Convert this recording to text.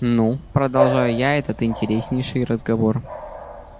ну продолжаю я этот интереснейший разговор